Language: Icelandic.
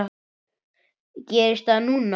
Gerist það núna?